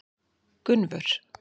Gunnvör